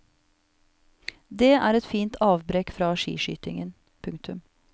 Det er et fint avbrekk fra skiskytingen. punktum